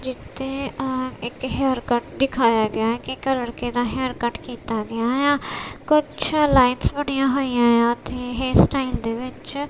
ਜਿੱਥੇ ਆਹ ਇੱਕ ਹੇਅਰ ਕਟ ਦਿਖਾਇਆ ਗਿਆ ਹੈ ਕਿ ਇੱਕ ਲੜਕੇ ਦਾ ਹੇਅਰ ਕਟ ਕੀਤਾ ਗਿਆ ਏ ਆ ਕੁਛ ਲਾਈਨਸ ਬਣਿਆਂ ਹੋਈਆਂ ਏ ਆ ਤੇ ਹੇਅਰ ਸਟਾਈਲ ਦੇ ਵਿੱਚ।